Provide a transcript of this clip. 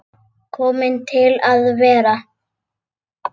Komin til að vera?